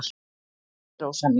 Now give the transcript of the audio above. """Nei, Rósa mín."""